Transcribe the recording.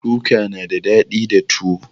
Kuka na da daɗi da tuwo